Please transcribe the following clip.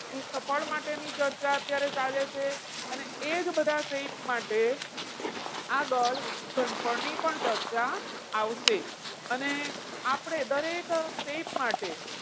પૃષ્ઠફળ માટેની ચર્ચા અત્યારે ચાલે છે અને એ જ બધા shape માટે આગળ ઘનફળ ની પણ ચર્ચા આવશે. અને આપણે દરેક shape માટે,